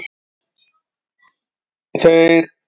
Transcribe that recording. Þeir stefndu síðan til Bessastaða en skip þeirra steytti á skeri.